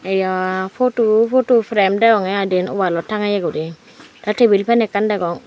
eyaa poto poto perem deonge I dien oaalot tangeye guri tey tibil pen ekkan degong.